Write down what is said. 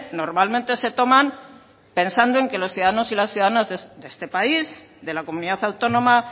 normalmente se toman pensando en que los ciudadanos y las ciudadanas de este país de la comunidad autónoma